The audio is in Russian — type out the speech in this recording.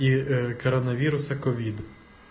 и коронавируса ковид